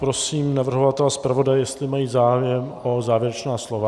Prosím navrhovatele a zpravodaje, jestli mají zájem o závěrečná slova?